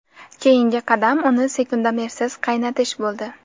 Keyingi qadam uni sekundomersiz qaynatish bo‘ldi.